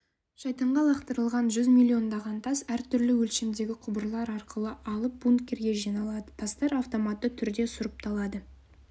шайтанға лақтырылған жүз миллиондаған тас әртүрлі өлшемдегі құбырлар арқылы алып бункерге жиналады тастар автоматты түрде сұрыпталады